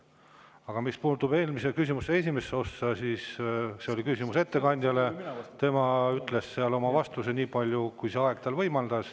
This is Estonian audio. Aga mis puutub eelmise küsimuse esimesse ossa, siis see oli küsimus ettekandjale ja tema ütles vastates nii palju, kui see aeg tal võimaldas.